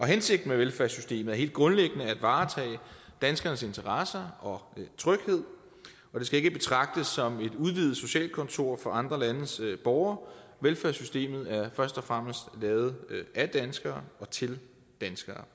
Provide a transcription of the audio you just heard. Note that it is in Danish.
hensigten med velfærdssystemet er helt grundlæggende at varetage danskernes interesser og tryghed og det skal ikke betragtes som et udvidet socialkontor for andre landes borgere velfærdssystemet er først og fremmest lavet af danskere og til danskere